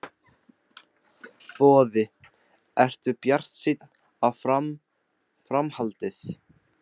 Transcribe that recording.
Boði: Ertu bjartsýnn á fram, framhaldið?